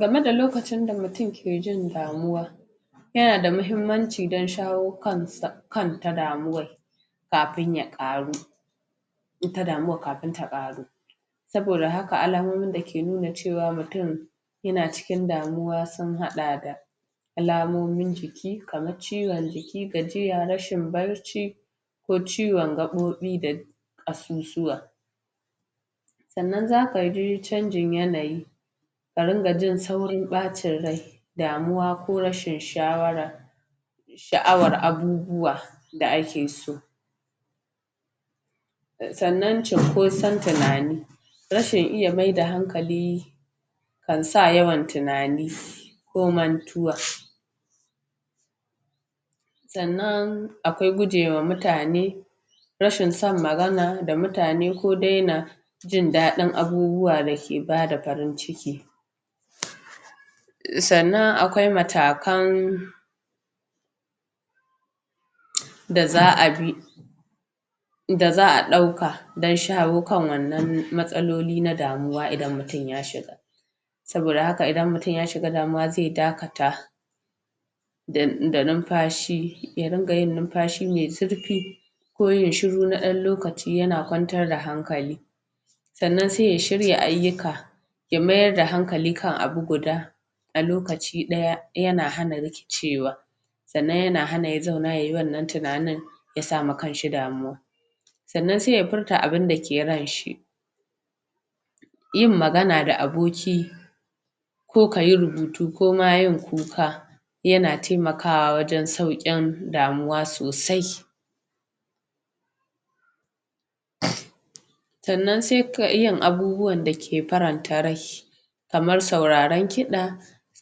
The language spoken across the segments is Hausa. game da lokacin mu game da lokacin da mu tun ke jin damuwa yanada muhummanci dan shawo kansa kar ka damu wai kafin ya Ƙaru ita damuwan kafin ta Ƙaru saboda hak ka alamomin da ke nuna ceaw mu tun yana ci kin damuwa sun hada da alamomin ji ki kamar ciwon ko ciwon gaɓoɓi da ƙas ƙasusuwa su suwa sanan zaka ji canjin yanayi ka rinƙa jin saurin ɓin rai damuwa ko rashin shawara sha 'awar abu buwa da ake so asanan cinkoson tunani rashin iya mai da hankali kan sa yawan tunani ko man tuwa sanan akwai guje wa mitane rashin son macana da mutane ko daina jin ɗaɗin abubuwa dai ke bada farin ciki sanan akwai matakan da za'a bi da za'a ɗauka dan shawo kan wannan matsa loli na damuwa idan mutun ya shiga saboda haka idan mutun ya shiga damuwa zai daka ta da numfashi ya ringa yin num fashi mai zurfi ko yayi shiru na dan lokaci duk yana kwantarda hankali sanan sai ya shirya ayyuka ya mayar da hankali kan abu guda alokaci ɗaya yana hana riki cewa sanan yana hana ya zauna yayi wannan tunanin yasa wa kanshi damuwa sanan sai ya furta abin da ke ranshi yin magana da aboki kokayi rubutu ko ma yin kuka yana taimakawa wajen saukin damuwa sosai sanan sai ka ƙi yin abubuwan da ke faranta rai kamar sauraran kiɗa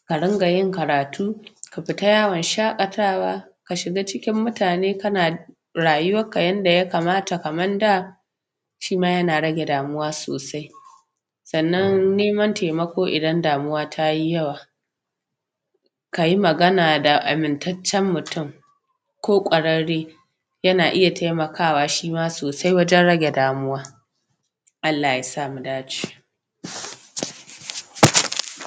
a ringa yin karatu tu ai fita yawon shaɗatawa ka shiga cikin motane kana rayuwa kka yanda ya kamata kaman da shima yana rage damuwa susai sanan neman taimako ko idan damuwa tayi yawa kayi magana da aminta cen mutun ko kwarare na iya taima kawa shima sosai wagen rage damu ALLAH yasa mudae ce